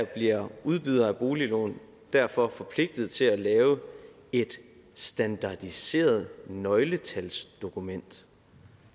bliver udbydere af boliglån derfor forpligtet til at lave et standardiseret nøgletalsdokument